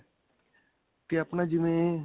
ਤੇ ਆਪਣਾ ਜਿਵੇਂ.